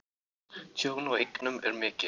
Tjón á eignum er mikið.